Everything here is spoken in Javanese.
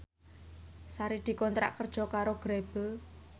Sari dikontrak kerja karo Grebel